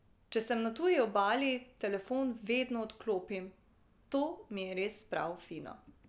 Če sem na tuji obali, telefon vedno odklopim, to mi je res prav fino.